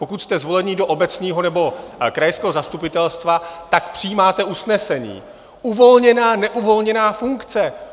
Pokud jste zvoleni do obecního nebo krajského zastupitelstva, tak přijímáte usnesení: uvolněná, neuvolněná funkce.